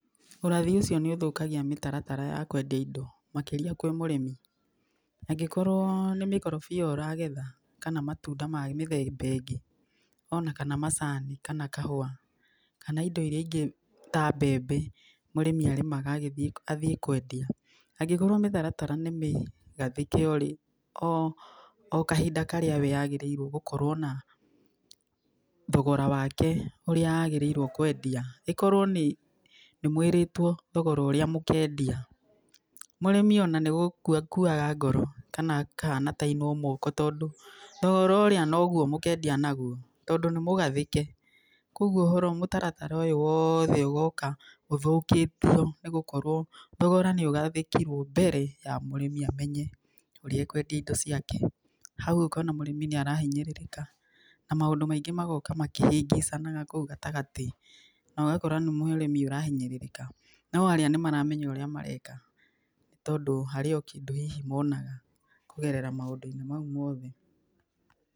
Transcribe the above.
Ũrathi ũcio nĩ ũthũkagia mĩtaratara ya kũendia indo makĩria kwĩ mũrĩmi, angĩkorwo nĩ mĩkorobia ũragetha kana matunda ma mĩthemba ĩngĩ, ona kana macani, kana kahũa, kana indo irĩa ingĩ ta mbembe, mũrĩmi arĩmaga athiĩ kũendia, angĩkorwo mĩtaratara nĩ mĩgathĩke o kahinda karĩa we agĩrĩirwo gũkorwo na thogora wake ũrĩa agĩrĩirwo kũendia, ĩkorwo nĩ mũĩrĩtwo thogora ũrĩa mũkendia, mũrĩmi ona nĩ gũkua akuaga ngoro kana akahana ta ainwo moko, tondũ thogora ũrĩa noguo mũkendia naguo, tondũ nĩ mũgathĩke. Kũguo mũtaratara ũyũ wothe ũgoka ũthũkĩtio nĩ gũkorwo thogora nĩ ũgathĩkirwo mbere ya mũrĩmi amenye ũrĩa ekũendia indo ciake, hau ũkona mũrĩmi nĩ arahinyĩrĩrĩka na maũndũ maingĩ magoka makĩhĩngĩcanaga kũu gatagatĩ na ũgakora nĩ mũrĩmi ũrahinyĩrĩrĩka no arĩa nĩ maramenya ũrĩa mareka, tondũ harĩ o kĩndũ hihi monaga kũgerera maũndũ-inĩ mau mothe.